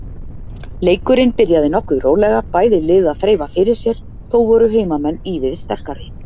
Leikurinn byrjaði nokkuð rólega, bæði lið að þreifa fyrir sér, þó voru heimamenn ívið sterkari.